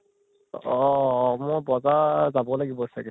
অ অ মই বজাৰ যাব লাগিব চাগে